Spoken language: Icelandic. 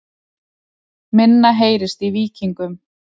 Minna heyrist í Víkingum